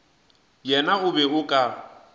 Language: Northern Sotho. yena o be o ka